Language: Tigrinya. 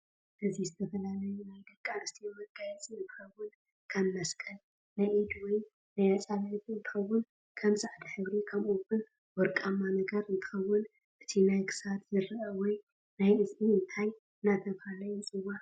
እዚ ዝተፈላለዩ ናይ ደቂ ኣንስትዮ መጋየፅ እንትከውን ከም መስቀል ፣ናይ ኢድ ወይ ናይ ኣፃብዕቲ እንትከውን ክም ፃዕዳሕብሪ ከምኡ እውን ወርቃማ ነገር እንትከውን እቲ ናይ ክሳድ ዝርእ ወይ ናይ እዝኒ እንታይ እደተበሃለ ይፅዋዕ?